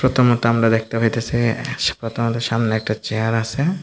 ফতোর মধ্যে আমরা দেখতে পাইতেছি সামনে একটা চেয়ার আসে ।